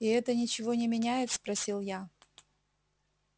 и это ничего не меняет спросил я